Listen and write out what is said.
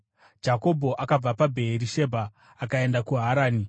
Jakobho akabva paBheerishebha akaenda kuHarani.